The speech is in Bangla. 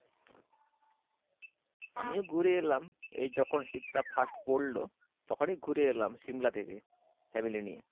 আমিও ঘুরে এলাম, এই যখন শীত টা first পরলো, তখনই ঘুরে এলাম সিমলা থেকে family নিয়ে।